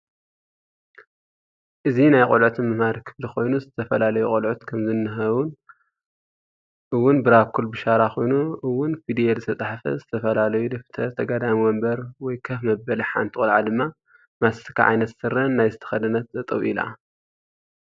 እዚ ናይ ቁሉዑት መምህሪ ክፍሊ ኮይኑ ዝተፈላላዩ ቀሉዑት ከም ዝንህው እውን ብራኮል ብሻራ ኮይኑ እ ውን ፍዲየል ዝተፃሓፈ ዝተበፈላላዩ ደፍተር ተጋዳሚ ወንበር ወይ ከፍ መበል ሓንቲ ቆላዓ ድማ ማስትካ ዓይነት ስረን ናይ ዝተከደነት ጠጠው ኢላ